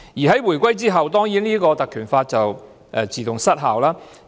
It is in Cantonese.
在回歸後，《立法局條例》也自動失效。